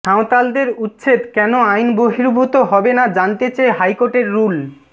সাঁওতালদের উচ্ছেদ কেন আইন বহির্ভূত হবে না জানতে চেয়ে হাইকোর্টের রুল